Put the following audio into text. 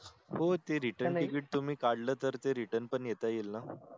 हो ते RETURN TICKET तुम्ही काढल तर त return पण येत येईल न